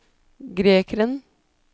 grekeren